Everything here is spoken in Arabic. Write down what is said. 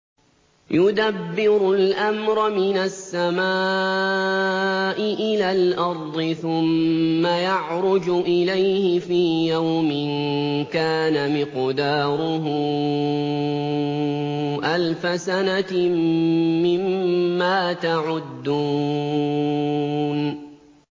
يُدَبِّرُ الْأَمْرَ مِنَ السَّمَاءِ إِلَى الْأَرْضِ ثُمَّ يَعْرُجُ إِلَيْهِ فِي يَوْمٍ كَانَ مِقْدَارُهُ أَلْفَ سَنَةٍ مِّمَّا تَعُدُّونَ